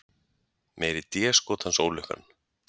Meiri déskotans ólukkan.